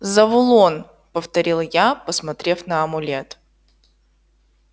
завулон повторил я посмотрев на амулет